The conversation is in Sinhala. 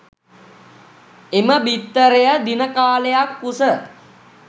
එම බිත්තරය දිනකාලයක් කුස